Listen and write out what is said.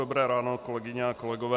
Dobré ráno kolegyně a kolegové.